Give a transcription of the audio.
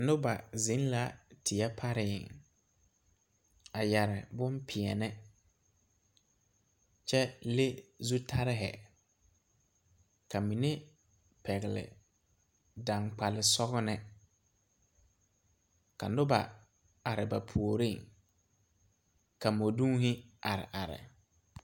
Noba zeŋ la teɛ pare a yɛre bonpeɛlle kyɛ leŋ zutare ka mine pɛgle daŋgbal sɔglɔ ka noba are ba puoriŋ ka mɔdonne are are.